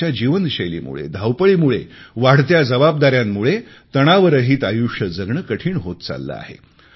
आजच्या जीवनशैलीमुळे धावपळीमुळे वाढत्या जबाबदाऱ्यांमुळे तणावरहीत आयुष्य जगणे कठीण होत चालले आहे